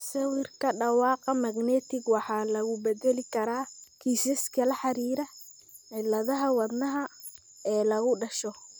Sawirka dhawaaqa magnetic waxaa lagu bedeli karaa kiisaska la xiriira cilladaha wadnaha ee lagu dhasho.